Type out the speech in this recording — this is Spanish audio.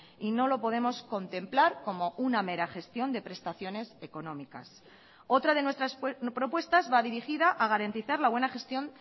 y no lo podemos contemplar como una mera gestión de prestaciones económicas otra de nuestras propuestas va dirigida a garantizar la buena gestión